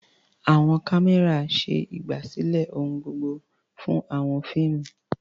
Àwọn kámẹ́rà ṣe ìgbàsílẹ̀ ohun gbogbo fún àwọn fíìmù.